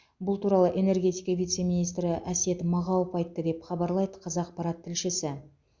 бұл туралы энергетика вице министрі әсет мағауов айтты деп хабарлайды қазақпарат тілшісі